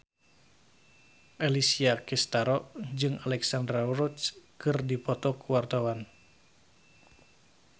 Alessia Cestaro jeung Alexandra Roach keur dipoto ku wartawan